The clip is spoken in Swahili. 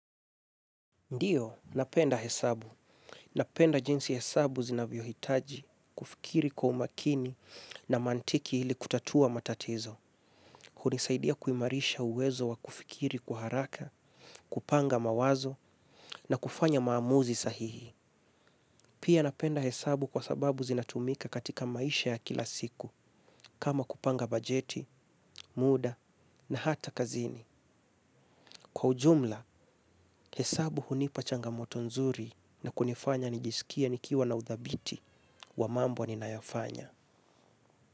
Ndiyo, napenda hesabu. Napenda jinsi hesabu zinavyohitaji, kufikiri kwa umakini na mantiki ili kutatua matatizo. Hunisaidia kuimarisha uwezo wa kufikiri kwa haraka, kupanga mawazo na kufanya maamuzi sahihi. Pia napenda hesabu kwa sababu zinatumika katika maisha ya kila siku, kama kupanga bajeti, muda na hata kazini. Kwa ujumla, hesabu hunipa changamoto nzuri na kunifanya nijisikie nikiwa na uthabiti wa mambo ninayofanya.